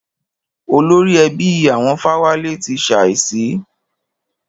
Olórí ẹbí àwọn Fáwálé ti ṣàísí.